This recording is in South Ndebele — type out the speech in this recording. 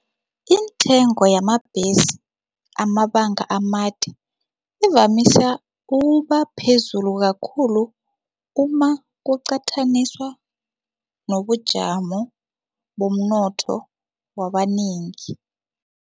Iintengo yamabhesi amabanga amade ivamisa ukuba phezulu kakhulu umakuqathaniswa nobujamo bomnotho wabanengi.